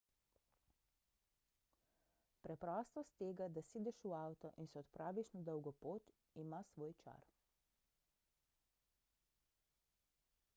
preprostost tega da sedeš v avto in se odpraviš na dolgo pot ima svoj čar